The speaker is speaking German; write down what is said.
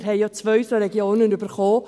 Wir haben ja zwei solche Regionen erhalten.